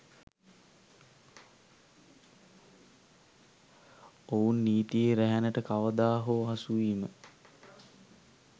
ඔවුන් නීතියේ රැහැනට කවදා හෝ අසුවීම